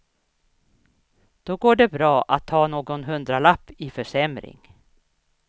Då går det bra att ta någon hundralapp i försämring.